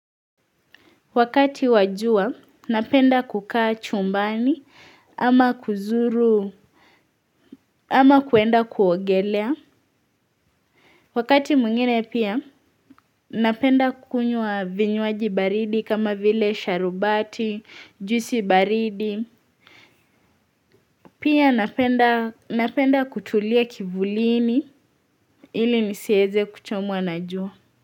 Wakati wajua, napenda kukaa chumbani, ama kuzuru, ama kwenda kuongelea. Wakati mwingine pia, napenda kunywa vinywaji baridi kama vile sharubati, juisi baridi. Pia napenda kutulia kivulini ili nisieze kuchomwa na jua.